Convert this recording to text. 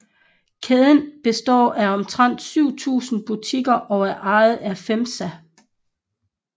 Kæden består af omtrent 7000 butikker og er ejet af FEMSA